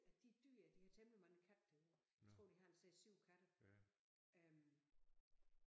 Af de dyr de har temmelig mange katte derude jeg tror de har en 6 7 katte øh